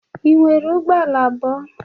Ị nwere ụgbọ ala abụọ?